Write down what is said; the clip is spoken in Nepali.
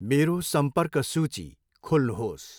मेरो सम्पर्क सूची खोल्नुहोस्।